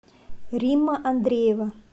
римма андреева